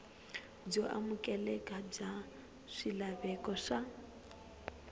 byo amukeleka bya swilaveko swa